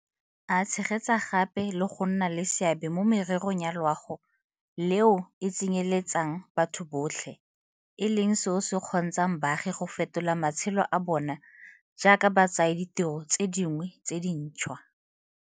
A tshegetsa gape le go nna le seabe mo mererong ya loago le eo e tsenyeletsang batho botlhe, e leng seo se kgontshang baagi go fetola matshelo a bona jaaka ba tsaya ditiro tse dingwe tse dintšhwa.